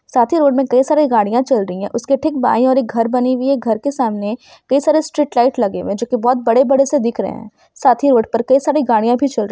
साथ ही रोड में कई सारी गाड़िया चल रही है उसके ठीक बाई ओर एक घर बनी हुई है घर के समाने कई सारे स्ट्रीट लाइट लगे हुए है जो कि बहुत बड़े-बड़े से दिख रहे है साथ ही रोड पर कई सारी गाड़िया भी चल रही--